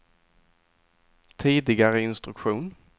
tidigare instruktion